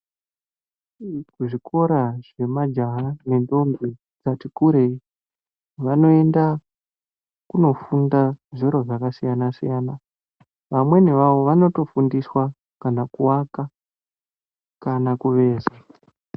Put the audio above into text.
Kuzvikora zvemajaha nendhombi ati kurei vanoenda kunofunda zviro zvakasiyanasiyana, vamweni vavo vanotofundiswa kana kuaka kana kubeza.